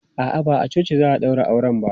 A'a, ba a coci za a ɗaura auren ba.